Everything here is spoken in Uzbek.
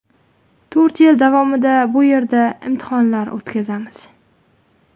To‘rt yil davomida bu yerda imtihonlar o‘tkazamiz.